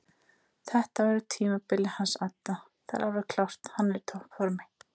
Þetta verður tímabilið hans adda það er alveg klárt hann er í toppformi.